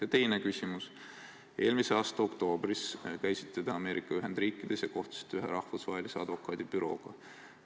Ja teine küsimus: eelmise aasta oktoobris käisite te Ameerika Ühendriikides ja kohtusite seal ühe rahvusvahelise advokaadibürooga.